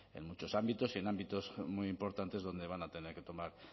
en muchos ámbitos y en ámbitos muy importantes donde van a tener que tomar